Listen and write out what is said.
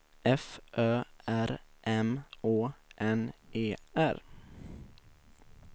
F Ö R M Å N E R